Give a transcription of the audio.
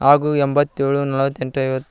ಹಾಗು ಎಂಬಾತ್ ಏಳು ನಲ್ವತ್ ಎಂಟು ಐವತ್--